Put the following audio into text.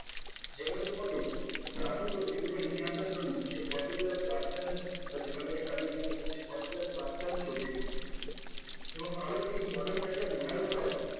সেখানে তোমাকে traffic or visitor নিয়ে আসার জন্য সে particular platform বা যেখান থেকে traffic নিয়ে আসবে সে particular platform কে pay করতে এবং আরো একটি important মনে রাখতে হবে